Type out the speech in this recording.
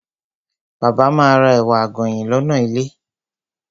Bàbá ma ra ẹ̀wà àgànyìn lọ́nà ilé.